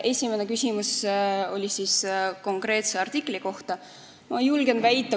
Esimene küsimus oli konkreetse artikli kohta.